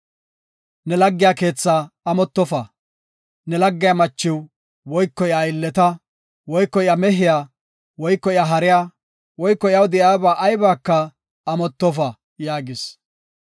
“Ne laggiya keethaa amottofa. Ne laggiya machiw, woyko iya aylleta, woyko iya mehiya, woyko iya hariya, woyko iyaw de7iyaba aybaka amottofa” yaagis.